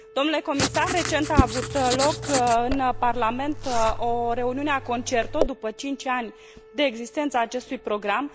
Domnule comisar, recent a avut loc în Parlament o reuniune a CONCERTO, după cinci ani de existență a acestui program.